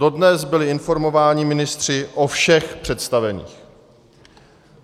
Dodnes byli informováni ministři o všech představených.